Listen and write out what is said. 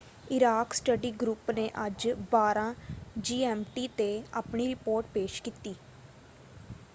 Iraq study group ਨੇ ਅੱਜ 12.00 GMT 'ਤੇ ਆਪਣੀ ਰਿਪੋਰਟ ਪੇਸ਼ ਕੀਤੀ।